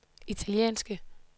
italienske